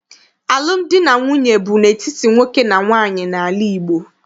Alụmdi na nwunye bụ n'etiti nwoke na nwaanyị n'ala Igbo.